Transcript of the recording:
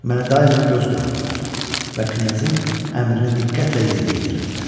Mənə daima göz qoyurdular və knyazın əmrini diqqətlə yerinə yetirirdilər.